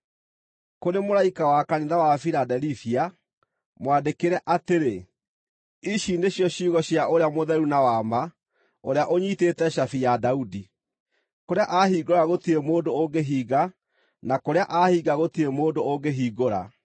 “Kũrĩ mũraika wa kanitha wa Filadelifia, mwandĩkĩre atĩrĩ: Ici nĩcio ciugo cia ũrĩa mũtheru na wa ma, ũrĩa ũnyiitĩte cabi ya Daudi. Kũrĩa ahingũra gũtirĩ mũndũ ũngĩhinga, na kũrĩa ahinga gũtirĩ mũndũ ũngĩhingũra.